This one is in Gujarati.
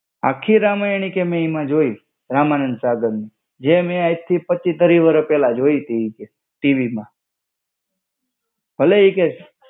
આખી રામાયણ ઈ કેય કે મેં એમાં જોઈ. રામાનંદ સાગરની. જે મેં આજથી પચ્છી ત્રીસ વર્ષ પેલા જોઈથી ઈ કે TV માં. ભલે ઈ કે